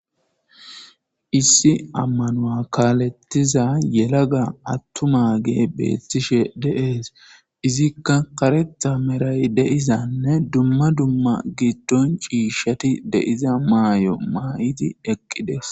issi ammanua kaalettiza yelaga attuma gee beettishe deees izikka karetha meray deizanne dumma dumma giddon ciishshati deiza maay7o maayiti eqqides